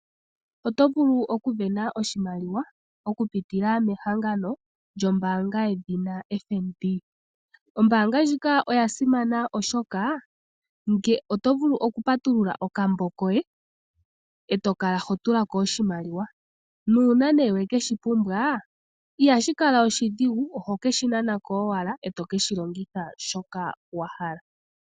Oto vulu oku sindana oshimaliwa oku pitila mehangano lyombaanga yedhina FNB. Ombaanga ndjika oya simana oshoka oto vulu oku patulula okambo koye, e to kala ho tula ko oshimaliwa, nuuna ne wekeshi pumbwa, ihashi kala oshidhigu oho keshi nana ko owala, e to keshi longitha shoka wa hala.